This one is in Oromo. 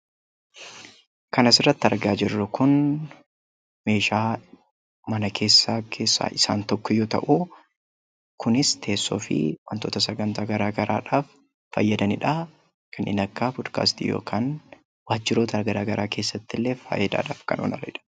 Kan asirratti argaa jirru kun meeshaa mana keessaa keessaa isaan tokko yoo ta'u, kunis teessoo fi wantoota sagantaa garaagaraadhaaf fayyadani dhaa. Kanneen akka 'Podkaastii' yookaan waajjiroota garaagaraa keessatti illee faayidaadhaaf kan oolanii dha.